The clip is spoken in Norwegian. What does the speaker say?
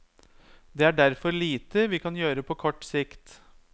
Det er derfor lite vi kan gjøre på kort sikt.